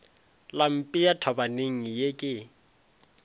la mpea thabaneng ye ke